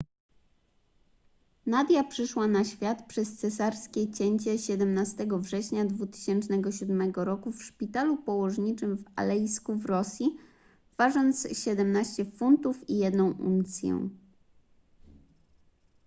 nadia przyszła na świat przez cesarskie cięcie 17 września 2007 r w szpitalu położniczym w alejsku w rosji ważąc 17 funtów i 1 uncję